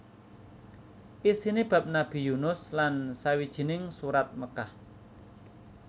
Isiné bab Nabi Yunus lan sawijining Surat Mekkah